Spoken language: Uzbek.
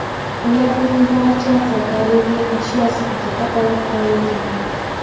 Ularning barchasi daliliy ashyo sifatida olib qo‘yilgan.